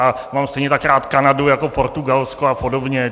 A mám stejně tak rád Kanadu jako Portugalsko a podobně.